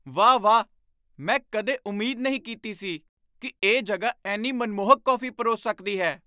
ਵਾਹ ਵਾਹ! ਮੈਂ ਕਦੇ ਉਮੀਦ ਨਹੀਂ ਕੀਤੀ ਸੀ ਕਿ ਇਹ ਜਗ੍ਹਾ ਇੰਨੀ ਮਨਮੋਹਕ ਕੌਫੀ ਪਰੋਸ ਸਕਦੀ ਹੈ।